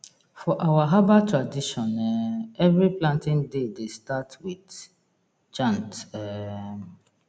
for our herbal tradition um every planting day dey start with chant um